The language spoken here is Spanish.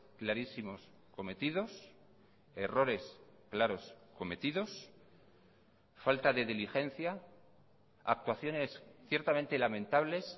clarísimos cometidos errores claros cometidos falta de diligencia actuaciones ciertamente lamentables